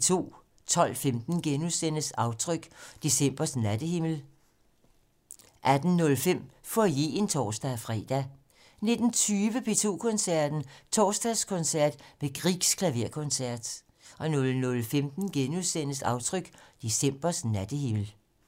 12:15: Aftryk - Decembers nattehimmel * 18:05: Foyeren (tor-fre) 19:20: P2 Koncerten - Torsdagskoncert med Griegs Klaverkoncert 00:15: Aftryk - Decembers nattehimmel *